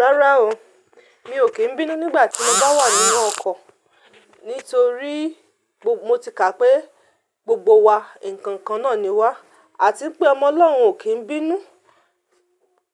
Rárá o, mi ò kí ń bínú nígbà tí mo bá wà nínú ọkọ̀. Nítorí mo ti ká pé gbogbo wa nǹkan kan náà ni wá. A ti ń pe ọmọ Ọlọ́run ò kí ń bínú.